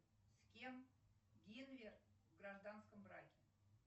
с кем генвер в гражданском браке